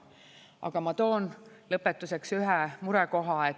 Aga ma toon lõpetuseks ühe murekoha.